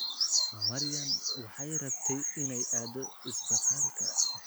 Maryan waxay rabtay inay aado isbitaalka